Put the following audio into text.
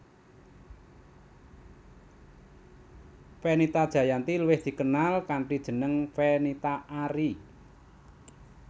Fenita Jayanti luwih dikenal kanthi jeneng Fenita Arie